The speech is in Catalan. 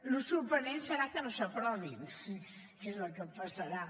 el sorprenent serà que no s’aprovin que és el que passarà